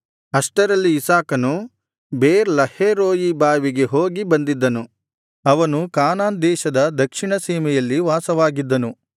ಅಷ್ಟರಲ್ಲಿ ಇಸಾಕನು ಬೆರ್ ಲಹೈರೋಯಿ ಬಾವಿಗೆ ಹೋಗಿ ಬಂದಿದ್ದನು ಅವನು ಕಾನಾನ್ ದೇಶದ ದಕ್ಷಿಣ ಸೀಮೆಯಲ್ಲಿ ವಾಸವಾಗಿದ್ದನು